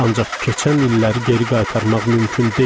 Ancaq keçən illəri geri qaytarmaq mümkün deyil.